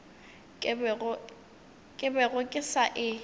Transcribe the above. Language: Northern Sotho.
ke bego ke sa e